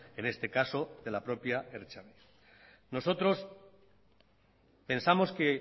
en este caso de la propia ertzaintza nosotros pensamos que